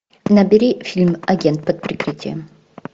набери фильм агент под прикрытием